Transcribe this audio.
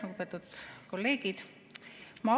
Lugupeetud kolleegid!